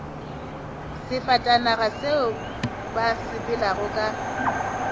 sefatanaga seo ba sepelago ka